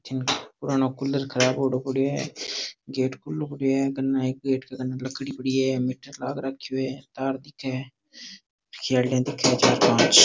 पुराना कूलर खराब होयोड़ो पड़ियो है गेट खूलो पडियो है कने एक गेट के कने एक लकड़ी पड़ी है मीटर लाग राखियो है तार दिखे है खेलडिया दिखे है चार पांच।